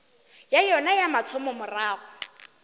ya yona ya mathomo morago